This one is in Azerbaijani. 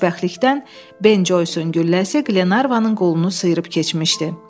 Xoşbəxtlikdən Ben Joysun gülləsi Glenarvanın qolunu sıyırıb keçmişdi.